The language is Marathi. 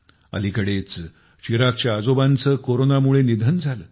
अलीकडेच चिरागच्या आजोबांचे कोरोनामुळे निधन झाले